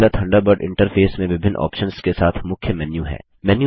Mozilla Thunderbird interface में विभिन्न options के साथ मुख्य मेन्यू है